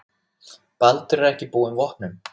Baldur er ekki búinn vopnum.